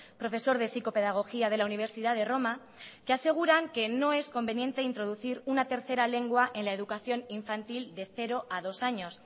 profesor de psicopedagogía de la universidad de roma que aseguran que no es conveniente introducir una tercera lengua en la educación infantil de cero a dos años